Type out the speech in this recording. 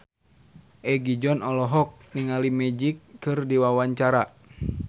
Egi John olohok ningali Magic keur diwawancara